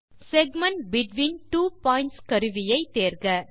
segment between two points கருவியை தேர்க